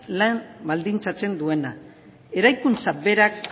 lan baldintzatzen duena eraikuntza berak